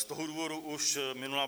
Z toho důvodu už minulá